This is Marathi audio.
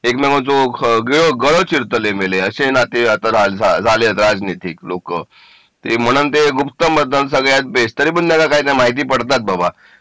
एकमेकांचे गळू चिरतले मेले असे आता नाती राजनीतिक झालेत लोक ते म्हणते गुप्त मतदान सगळ्यात बेस्ट तरीपण या लोकांना माहिती पडतात बाबा